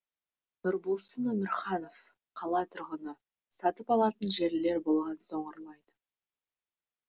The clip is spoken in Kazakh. нұрболсын өмірханов қала тұрғыны сатып алатын жерлер болған соң ұрлайды